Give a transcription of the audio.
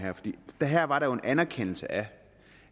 med her var der jo en anerkendelse af